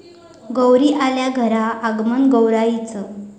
गौरी आल्या घरा, आगमन गौराईचं